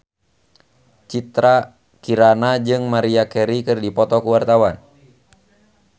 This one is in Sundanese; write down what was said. Citra Kirana jeung Maria Carey keur dipoto ku wartawan